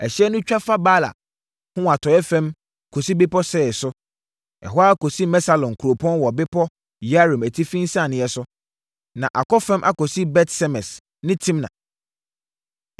Ɛhyeɛ no twa fa Baala ho wɔ atɔeɛ fam kɔsi bepɔ Seir so, ɛkɔ ara kɔsi Kesalon kurom wɔ bepɔ Yearim atifi nsianeɛ so, na akɔ fam akɔsi Bet-Semes ne Timna.